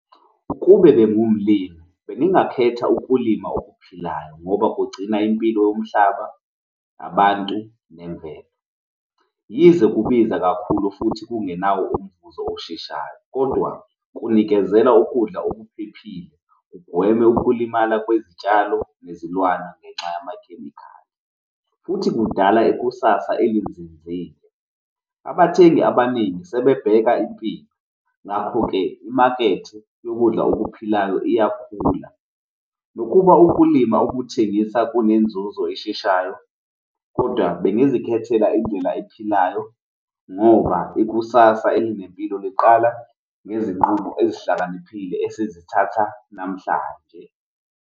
Ukube bengiwumlimi bengingakhetha ukulima okuphilayo ngoba kugcina impilo yomhlaba, abantu nemvelo. Yize kubiza kakhulu futhi kungenawo umvuzo osheshayo, kodwa kunikezela ukudla okuphephile, kugweme ukulimala kwezitshalo nezilwane ngenxa yamakhemikhali futhi kudala ikusasa elinzinzile. Abathengi abaningi sebebheka impilo ngakho-ke imakethe yokudla okuphilayo iyakhula nokuba ukulima ukuthengisa kunenzuzo esheshayo kodwa bengizikhethela indlela ephilayo ngoba ikusasa elinempilo liqala ngezinqumo ezihlakaniphile esizithatha namhlanje.